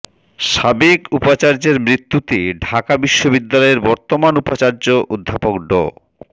সাবেক উপাচার্যের মৃত্যুতে ঢাকা বিশ্ববিদ্যালয়ের বর্তমান উপাচার্য অধ্যাপক ড